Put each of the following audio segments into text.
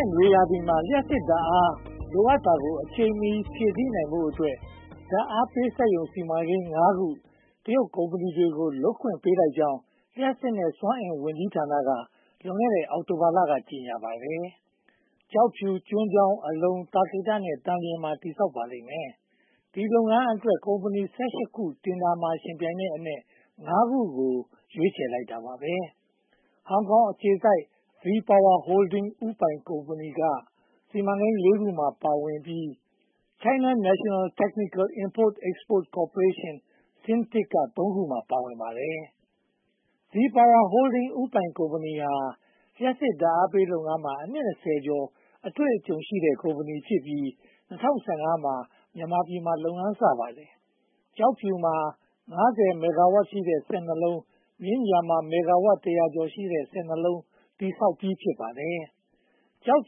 ့်နွေရာသီမှာ လျှပ်စစ်ဓါတ်အား လိုအပ်တာကို အချိန်မီဖြည့်ဆည်းနိုင်ဖို့အတွက် ဓါတ်အားပေးစက်ရုံ စီမံကိန်း (၅) ခု တရုတ်ကုမ္ပဏီတွေကို လုပ်ခွင့်ပေးလိုက်ကြောင်း လျှပ်စစ်နဲ့ စွမ်းအင်ဝန်ကြီးဌာနက လွန်ခဲ့တဲ့ အောက်တိုဘာလက ကြေညာပါတယ်။ ကျောက်ဖြူ၊ ကျွန်းချောင်း၊ အလုံ၊ သာကေတနဲ့ သန်လျင်မှာ တည်ဆောက်ပါလိမ့်မယ်။ ဒီလုပ်ငန်းအတွက် ကုမ္ပဏီ (၁၈) ခု တင်ဒါမှာ ယှဉ်ပြိုင်တဲ့အနက် (၅) ခုကို ရွေးချယ်လိုက်ပါတယ်။ ဟောင်ကောင်အခြေစိုက် Vpower Holding ဦးပိုင်ကုမ္ပဏီက စီမံကိန်း (၄) ခုမှာ ပါဝင်ပြီး China National Technical Import and Export Corp. (CNTIEC) က သုံးခုမှာ ပါဝင်နေပါတယ်။ VPower Holding ဦးပိုင်ကုမ္ပဏီဟာ လျှပ်စစ်ဓါတ်အားပေးလုပ်ငန်းမှာ အနှစ် (၂၀) ကျော် အတွေ့အကြုံရှိတဲ့ ကုမ္ပဏီဖြစ်ပြီး ၂၀၁၅ မှာ မြန်မာပြည်မှာ လုပ်ငန်းစပါတယ်။ ကျောက်ဖြူမှာ (၅၀) မဂ္ဂါဝပ်ရှိတဲ့ စက် (၂) လုံး၊ မြင်းခြံမှာ မဂ္ဂါဝပ် (၁၀၀) ကျော်ရှိတဲ့ စက် (၂) လုံး တည်ဆောက်ပြီး ဖြစ်ပါတယ်။ ကျောက်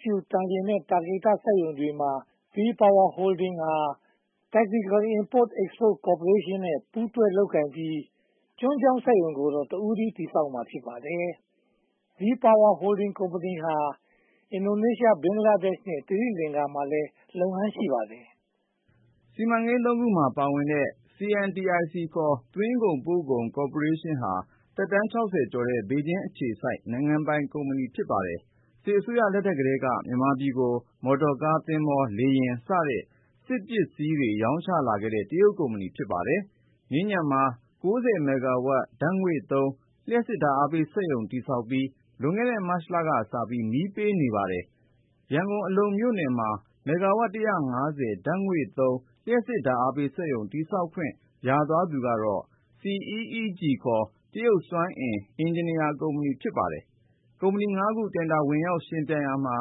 ဖြူ၊ သန်လျင်နဲ့ သာကေတ စက်ရုံစီမံကိန်းတွေမှာ VPower Holding ဟာ၊ Technical Import & Export Corp. နဲ့ ပူးတွဲလုပ်ကိုင်ပြီး ကျွန်းချောင်းစက်ရုံကိုတော့ တဦးတည်း တည်ဆောက်မှာ ဖြစ်ပါတယ်။ VPower Holding ကုမ္ပဏီဟာ အင်ဒိုနေရှား၊ ဘင်္ဂလားဒေ့ရ်ှနဲ့ သီရိလင်္ကာမှာလည်း လုပ်ငန်းရှိပါတယ်။ စီမံကိန်း (၃) ခုမှာ ပါဝင်နေတဲ့ CNTIC ခေါ် သွင်းကုန်ပို့ကုန်ကော်ပိုရေးရှင်းဟာ သက်တမ်း (၆၀) ကျော်တဲ့ ဘေဂျင်းအခြေစိုက် နိုင်ငံပိုင်ကုမ္ပဏီ ဖြစ်ပါတယ်။ စစ်အစိုးရလက်ထက်ကတည်းက မြန်မာပြည်ကို မော်တော်ကား၊ သင်္ဘော၊ လေယာဉ်စတဲ့ စစ်ပစ္စည်းတွေ ရောင်းချလာခဲ့တဲ့ တရုတ်ကုမ္ပဏီ ဖြစ်ပါတယ်။ မြင်းခြံမှာ (၉၀) မဂ္ဂါဝပ် ဓါတ်ငွေ့သုံး လျှပ်စစ်ဓါတ်အားပေးစက်ရုံ တည်ဆောက်ပြီး လွန်ခဲ့တဲ့ မတ်လကစပြီး မီးပေးနေပါပြီ။ ရန်ကုန် အလုံမြို့နယ်မှာ မဂ္ဂါဝပ် (၁၅၀) ဓါတ်ငွေ့သုံး လျှပ်စစ်ဓါတ်အားပေးစက်ရုံ တည်ဆောက်ခွင့်ရသွားသူကတော့ CEEG (ခေါ်) တရုတ်စွမ်းအင်၊ အင်ဂျင်နီယာကုမ္ပဏီ ဖြစ်ပါတယ်။ ကုမ္ပဏီ (၅) ခု တင်ဒါဝင်ရောက်ယှဉ်ပြိုင်ရာမှာ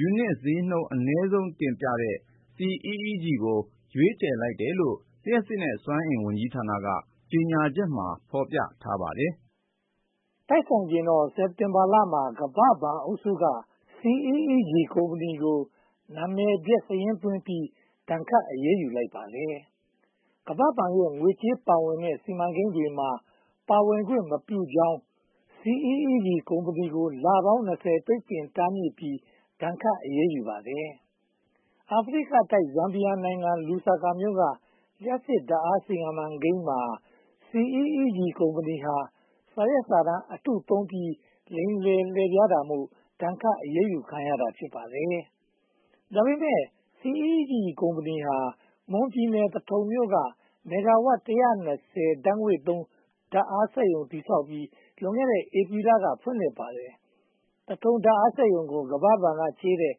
ယူနစ်ဈေးနှုန်း အနည်းဆုံးတင်ပြတဲ့ CEEG ကို ရွေးချယ်လိုက်တယ်လို့ လျှပ်စစ်နဲ့စွမ်းအင်ဝန်ကြီးဌာနရဲ့ ကြေညာချက်မှာ ဖော်ပြထားပါတယ်။ တိုက်ဆိုင်ချင်တော့ စက်တင်ဘာလမှာ ကမ္ဘာ့ဘဏ်အုပ်စုက CEEG ကုမ္ပဏီကို နာမည်ပျက်စာရင်းသွင်းပြီး ဒဏ်ခတ်အရေးယူလိုက်ပါတယ်။ ကမ္ဘာ့ဘဏ်ရဲ့ ငွေကြေးပါဝင်တဲ့ စီမံကိန်းတွေမှာ ပါဝင်ခွင့်မပြုကြောင်း CEEG ကုမ္ပဏီကို လပေါင်း (၂၀) ပိတ်ပင်တားမြစ်ထားပြီး ဒဏ်ခတ်အရေးယူပါတယ်။ အာဖရိကတိုက် ဇမ်ဘီယာနိုင်ငံ လူစာကာမြို့က လျှပ်စစ်ဓါတ်အားစီမံကိန်းမှာ CEEG ကုမ္ပဏီက စာရွက်စာတမ်း အတုသုံးပြီး လိမ်လည်လှည့်ဖြားတာမို့ ဒဏ်ခတ်အရေးယူခံရတာ ဖြစ်ပါတယ်။ ဒါပေမဲ့ CEEG ကုမ္ပဏီဟာ မွန်ပြည်နယ် သထုံမြို့က မဂ္ဂါဝပ် (၁၂၀) ဓါတ်ငွေ့သုံး ဓါတ်အားစက်ရုံကို တည်ဆောက်ပြီး လွန်ခဲ့တဲ့ ဧပြီလက ဖွင့်လှစ်ပါတယ်။ သထုံဓါတ်အားပေးစက်ရုံကို ကမ္ဘာ့ဘဏ်ကချေးတဲ့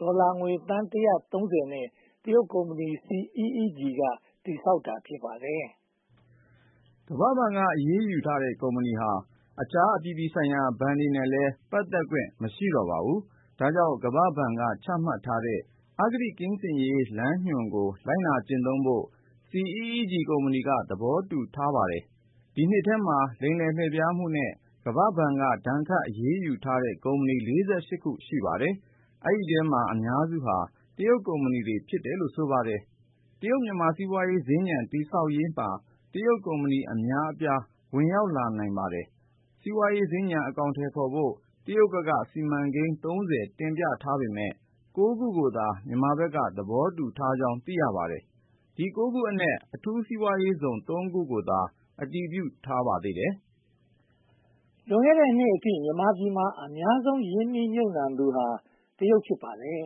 ဒေါ်လာငွေ သန်း (၁၃၀) နဲ့ တရုတ်ကုမ္ပဏီက CEEG က တည်ဆောက်ထားတာ ဖြစ်ပါတယ်။ ကမ္ဘာ့ဘဏ်က အရေးယူထားတဲ့ ကုမ္ပဏီဟာ အခြားအပြည်ပြည်ဆိုင်ရာ ဘဏ်တွေနဲ့လည်း ပတ်သက်ခွင့် မရှိတော့ပါဘူး။ ဒါကြောင့် ကမ္ဘာ့ဘဏ်က ချမှတ်ထားတဲ့ အဂတိကင်းစင်ရေး လမ်းညွှန်ကို လိုက်နာကျင့်သုံးဖို့ CEEG ကုမ္ပဏီက သဘောတူထားပါတယ်။ ဒီနှစ်ထဲမှာ လိမ်လည်လှည့်ဖြားမှုနဲ့ ကမ္ဘာ့ဘဏ်က ဒဏ်ခတ်အရေးယူထားတဲ့ ကုမ္ပဏီ (၄၈) ခု ရှိပါတယ်။ ဒီအထဲမှာ အများစုဟာ တရုတ်ကုမ္ပဏီတွေ ဖြစ်တယ်လို့ ဆိုပါတယ်။ တရုတ်-မြန်မာ စီးပွားရေးစင်္ကြန် တည်ဆောက်ရေးမှာ တရုတ်ကုမ္ပဏီ အမျာအပြား ဝင်ရောက်လာနိုင်ပါတယ်။ စီးပွားရေးစင်္ကြန် အကောင်အထည်ဖော်ဖို့ တရုတ်ဘက်က စီမံကိန်း (၃၀) တင်ပြထားပေမယ့် (၉) ခုသာ မြန်မာဘက်က သဘောတူကြောင်း သိရပါတယ်။ ဒီ (၉) ခုအနက် အထူးစီးပွားရေးဇုန် (၃) ခုကိုသာ အတည်ပြုထားပါတယ်။ လွန်ခဲ့တဲ့နှစ်အထိ မြန်မာပြည်မှာ အများဆုံး ရင်းနှီးမြုပ်နံှသူဟာ တရုတ်တွေ ဖြစ်ပါတယ်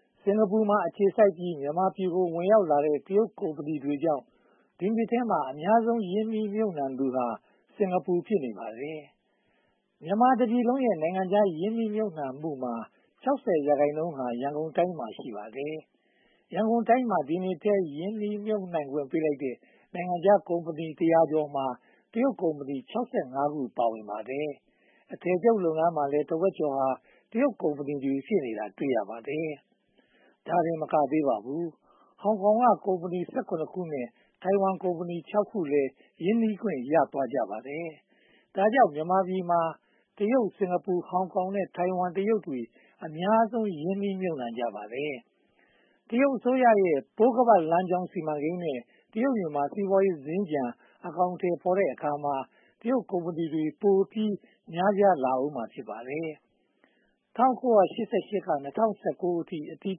။ စင်္ကာပူမှာ အခြေစိုက်ပြီး မြန်မာပြည်ကို ဝင်ရောက်တဲ့ တရုတ်ကုမ္ပဏီတွေကြောင့် ဒီနှစ်ထဲအများဆုံး ရင်းနှီးမြုပ်နံှသူဟာ စင်္ကာပူ ဖြစ်နေပါတယ်။ မြန်မာပြည်တပြည်လုံးရဲ့ နိုင်ငံခြားရင်းနှီးမြုပ်နံှမှုမှာ (၆၀) ရာခိုင်နှုန်းဟာ ရန်ကုန်တိုင်းမှာ ရှိပါတယ်။ ရန်ကုန်တိုင်းမှာ ဒီနှစ်ထဲ ရင်းနှီးမြုပ်နံှခွင့်ပေးလိုက်တဲ့ နိုင်ငံခြားကုမ္ပဏီ တရာကျော်မှာ (၁၁၃)၊ တရုတ်ကုမ္ပဏီ (၆၅) ခု ပါဝင်ပါတယ်။ အထည်ချုပ်လုပ်ငန်းမှာလည်း တဝက်ကျော်ဟာ တရုတ်ကုမ္ပဏီတွေ ဖြစ်နေတာ တွေ့ရပါတယ်။ ဒါတင်မကသေးပါဘူး ဟောင်ကောင်ကုမ္ပဏီ (၁၇) ခုနဲ့ ထိုင်ဝမ်ကုမ္ပဏီ (၆) ခုလည်း ရင်းနှီးခွင့် ရသွားကြပါတယ်။ ဒါကြောင့် မြန်မာပြည်မှာ တရုတ်၊ စင်္ကာပူ၊ ဟောင်ကောင်နဲ့ ထိုင်ဝမ်တရုတ်တွေ အများဆုံး ရင်းနှီးမြုပ်နံှကြပါတယ်။ တရုတ်အစိုးရရဲ့ ပိုးခါးပတ်လမ်းကြောင်း စီမံကိန်းနဲ့ တရုတ်-မြန်မာ စီးပွားရေးစင်္ကြန် အကောင်အထည်ဖော်တဲ့အခါမှာ တရုတ်ကုမ္ပဏီတွေ ပိုပြီးများပြားလာဦးမှာ ဖြစ်ပါတယ်။ ၁၉၈၈ က ၂၀၁၉ အထိ အတည်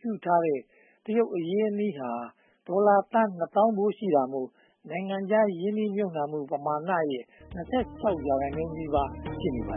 ပြုထားတဲ့ တရုတ်အရင်းအနှီးဟာ ဒေါ်လာသန်း နှစ်သောင်းဖိုး ရှိတာမို့ နိုင်ငံခြားရင်းနှီးမြုပ်နံှမှု ပမာဏာရဲ့ (၂၆) ရာခိုင်နှုန်းနီးပါး ဖြစ်နေပါ